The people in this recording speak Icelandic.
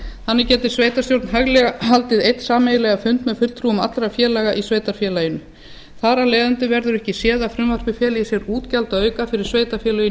þannig getur sveitarstjórn hæglega haldið einn sameiginlegan fund með fulltrúum allra félaga í sveitarfélaginu þar af leiðandi verður ekki séð að frumvarpið feli í sér útgjaldaauka fyrir sveitarfélögin í